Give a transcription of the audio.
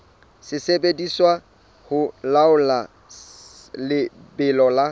sebediswa ho laola lebelo la